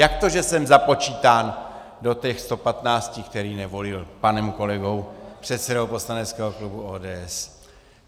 Jak to, že jsem započítán do těch 115, který nevolil, panem kolegou, předsedou poslaneckého klubu ODS?